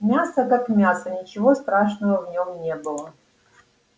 мясо как мясо ничего страшного в нем не было